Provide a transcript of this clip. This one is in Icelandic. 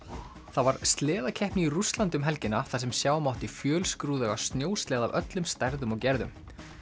það var sleðakeppni í Rússlandi um helgina þar sem sjá mátti fjölskrúðuga snjósleða af öllum stærðum og gerðum